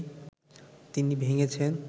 তিনি ভেঙেছেন